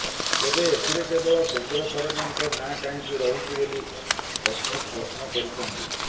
ତେବେ ଏଥିରେ କେବଳ କେନ୍ଦ୍ର ସରକାରଙ୍କ ନାଁ କାହିଁକି ରହୁଛି ବୋଲି ସସ୍ମିତ ପ୍ରଶ୍ନ କରିଛନ୍ତି